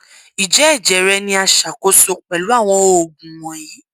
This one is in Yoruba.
ijẹ ẹjẹ rẹ ni a ṣakoso pẹlu awọn oogun wọnyi